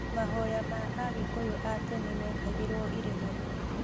Mahoya ma Agĩkũyũ a tene mekagĩrwo irĩma-inĩ